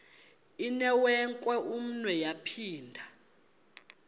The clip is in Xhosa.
inewenkwe umnwe yaphinda